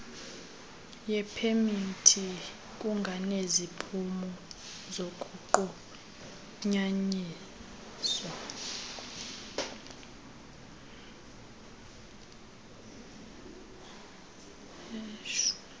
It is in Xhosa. yepemithi kunganeziphumo zokunqunyanyiswa